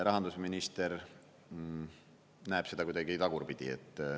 Rahandusminister näeb seda kuidagi tagurpidi.